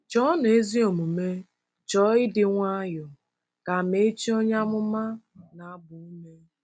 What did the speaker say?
“Chọọnụ ezi omume, chọọ ịdị nwayọọ,” ka Amaechi onye amụma na-agba ume.